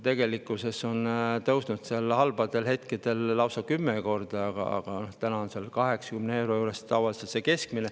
Tegelikkuses on see tõusnud halbadel hetkedel lausa kümme korda, aga täna on keskmine tavaliselt 80 euro juures.